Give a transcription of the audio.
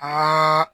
An ka